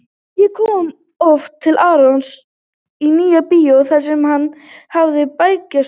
Ég kom oft til Arons í Nýja-bíó þar sem hann hafði bækistöðvar.